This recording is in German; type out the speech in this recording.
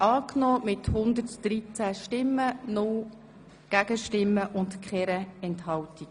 Sie haben die Dekretsänderung angenommen.